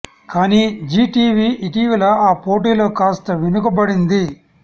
కానీ జీ టీవీ ఇటీవల ఆ పోటీలో కాస్త వెనుక బడింది